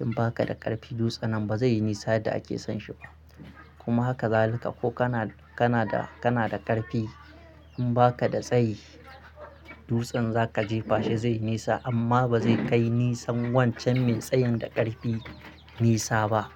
in ba ka da ƙarfi dutsen nan ba zai yi nisa da ake son shi ba. Kuma haka zalika ko kana da kana da kana da ƙarfi in ba ka da tsayi dutsen za ka jefa shi zai yi nisa amma ba zai kai nisan wancan mai tsayin da ƙarfi nisa ba.